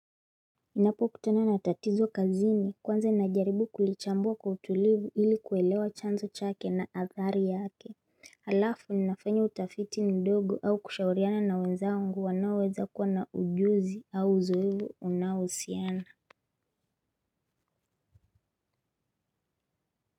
Ninapokutana na tatizo kazi ni kwanza najaribu kulichambua kwa utulivu ili kuelewa chanzo chake na athari yake alafu ninafanya utafiti ndogo au kushauriana na wenzangu wanaoweza kuwa na ujuzi au uzoefu unaohusiana.